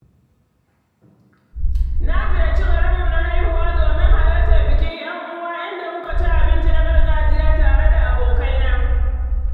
Na ziyarci garinmu na haihuwa domin halartar bikin 'yan'uwa inda muka ci abinci na gargajiya tare da abokaina.